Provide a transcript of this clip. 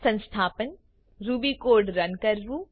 સંસ્થાપન Ruby code run કરવું